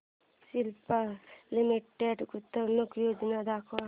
Cipla limited गुंतवणूक योजना दाखव